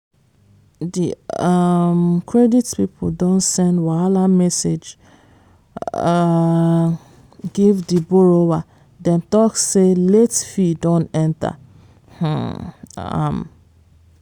di um credit people don send wahala message um give di borrower dem talk say late fee don enter um am.